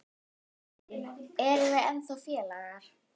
Erum við ekki ennþá félagar?